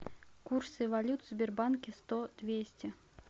курсы валют в сбербанке сто двести